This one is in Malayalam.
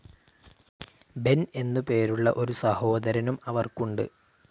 ബെൻ എന്ന് പേരുള്ള ഒരു സഹോദരനും അവർക്കുണ്ട്.